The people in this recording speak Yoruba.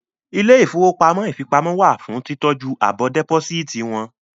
Ilé ìfowópamọ́ ìfipamọ́ wà fún títọ́jú àbọ̀ dẹ́pósíìtì wọn